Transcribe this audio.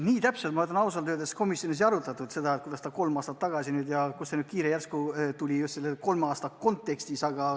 Nii täpselt ausalt öeldes komisjonis seda ei arutatud, kuidas see kolm aastat tagasi oli ja kust see kiire nüüd järsku tuli.